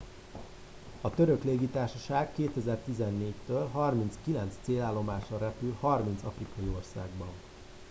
a török légitársaság 2014 től 39 célállomásra repül 30 afrikai országban